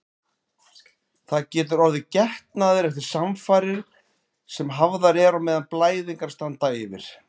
Það getur orðið getnaður eftir samfarir sem hafðar eru á meðan blæðingar standa yfir.